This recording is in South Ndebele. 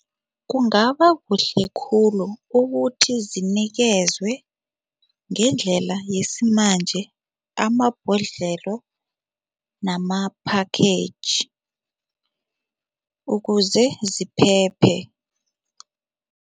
Kungaba kuhle khulu ukuthi zinikezwe ngendlela yesimanje amabhodlelo nama-package ukuze ziphephe.